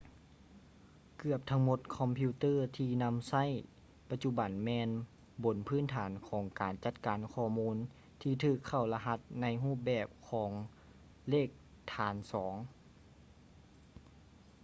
ເກືອບທັງໝົດຄອມພິວເຕີທີ່ນຳໃຊ້ໃນປະຈຸບັນແມ່ນຢູ່ບົນພື້ນຖານຂອງການຈັດການຂໍ້ມູນທີ່ຖືກເຂົ້າລະຫັດໃນຮູບແບບຂອງເລກຖານສອງ